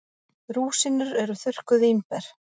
Rúsínur eru þurrkuð vínber.